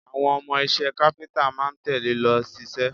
Àwọn ọmọ iṣẹ́ káfíńtà máa ń tẹ̀le lọ ṣiṣẹ́